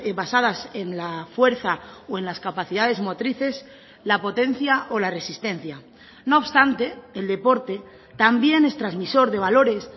basadas en la fuerza o en las capacidades motrices la potencia o la resistencia no obstante el deporte también es transmisor de valores